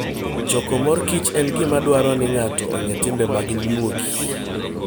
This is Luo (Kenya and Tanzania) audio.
Choko mor kich en gima dwaro ni ng'ato ong'e timbe mag nyuogi.